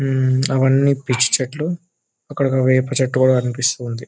అవి అన్ని పిచ్చి చెట్లు అక్కడ వేప చెట్టు కూడా కనిపిస్తుంది.